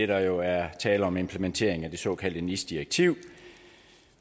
der jo er tale om implementering af det såkaldte nis direktiv